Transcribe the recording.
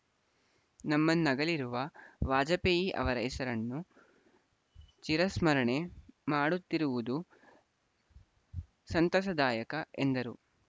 ನಮ್ಮನ್ನಗಲಿರುವ ವಾಜಪೇಯಿ ಅವರ ಹೆಸರನ್ನು ಚಿರಸ್ಮರಣೆ ಮಾಡುತ್ತಿರುವುದು ಸಂತಸದಾಯಕ ಎಂದರು